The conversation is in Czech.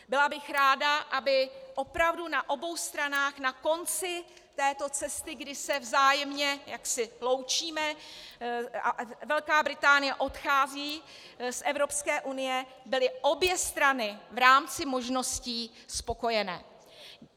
Byla bych ráda, aby opravdu na obou stranách na konci této cesty, kdy se vzájemně jaksi loučíme a Velká Británie odchází z Evropské unie, byly obě strany v rámci možností spokojené.